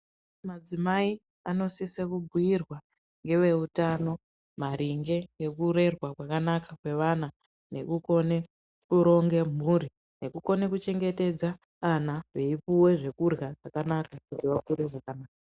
Madzimai anosise kubhuirwa ngeveutano maringe ngekurerwa kwakanaka kweana nekukone kuronge mhuri. Nekukone kuchengetedza ana veipuve zvekurwa zvakanaka kuti vakure zvakanaka.